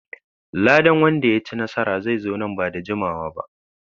Ladan wanda ya ci nasara zai zo nan ba da jimawa ba.